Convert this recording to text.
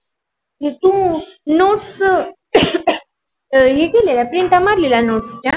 है थू nots है केलेला print मारलेल्या nots च्या